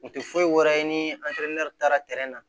U tɛ foyi wɛrɛ ye ni taara tɛrɛ na